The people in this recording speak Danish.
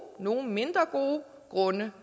nogle mindre gode grunde